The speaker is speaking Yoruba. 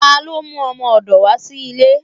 Talo mú ọmọdò wa sí ilé?